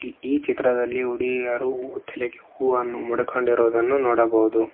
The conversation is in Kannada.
ಈ ಚಿತ್ರದಲ್ಲಿ ಹುಡುಗಿಯರು ತಲೆಗೆ ಹೂವನ್ನು ಮುಡುಕೊಂಡಿರುವುದನ್ನು ನೋಡಬಹುದು.